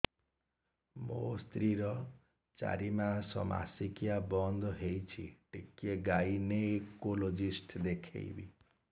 ମୋ ସ୍ତ୍ରୀ ର ଚାରି ମାସ ମାସିକିଆ ବନ୍ଦ ହେଇଛି ଟିକେ ଗାଇନେକୋଲୋଜିଷ୍ଟ ଦେଖେଇବି